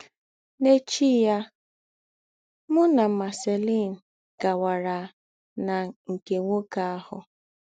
N’ēchí yà, mụ nà Marceline gàwàrà nà nke nwókè àhụ̀.